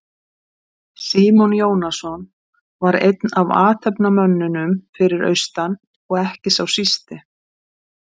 Símon Jónasson var einn af athafnamönnunum fyrir austan og ekki sá sísti.